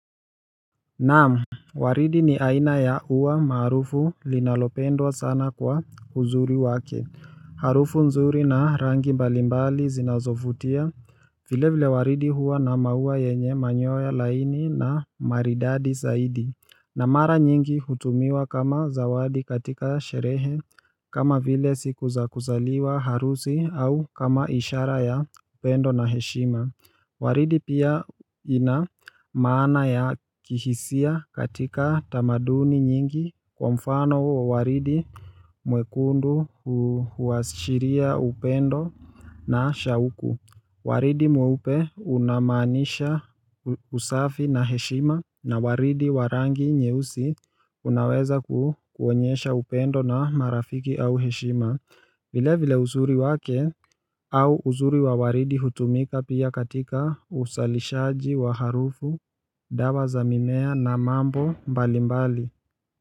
Naam waridi ni aina ya ua maarufu linalopendwa sana kwa uzuri wake Harufu nzuri na rangi mbalimbali zinazovutia vile vile waridi huwa na maua yenye manyoya laini na maridadi zaidi na mara nyingi hutumiwa kama zawadi katika sherehe kama vile siku za kuzaliwa harusi au kama ishara ya upendo na heshima waridi pia ina maana ya kihisia katika tamaduni nyingi kwa mfano wa waridi mwekundu huashiria upendo na shauku waridi mweupe unamaanisha usafi na heshima na waridi wa rangi nyeusi unaweza kuonyesha upendo na marafiki au heshima vile vile uzuri wake au uzuri wa waridi hutumika pia katika usalishaji wa harufu, dawa za mimea na mambo mbalimbali.